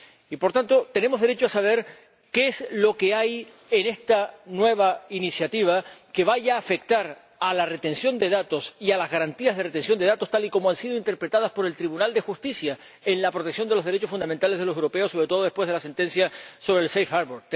Y, por tanto, tenemos derecho a saber qué es lo que hay en esta nueva iniciativa que vaya a afectar a la retención de datos y a las garantías de retención de datos, tal y como han sido interpretadas por el Tribunal de Justicia en relación con la protección de los derechos fundamentales de los europeos, sobre todo después de la sentencia sobre el safe harbour